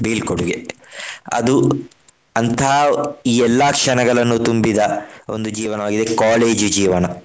ಬೀಳ್ಕೊಡುಗೆ. ಅದು ಅಂತಹ ಎಲ್ಲಾ ಕ್ಷಣಗಳನ್ನು ತುಂಬಿದ ಒಂದು ಜೀವನವಾಗಿದೆ. college ಜೀವನ.